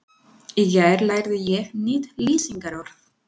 Í gær lærði ég nýtt lýsingarorð.